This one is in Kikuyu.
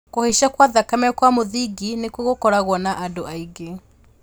Kũhaica kwa thakame kwa mũthingi nĩkuo gũkoragwo na andũ aingĩ